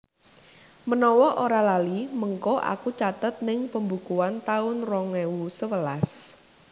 Menawa ora lali mengko aku catet ning pembukuan taun rong ewu sewelas